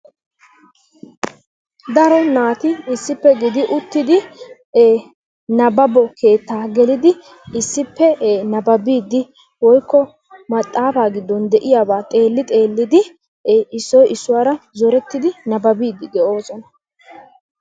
Daro naati issippe gidi uttidi nabbabo keettaa gelidi issippe nabbabiiddi woykko maxaafaa giddon de"iyaba xeelli xeellidi issoyi issuwara zorettidi nabbabiiddi de"oosona.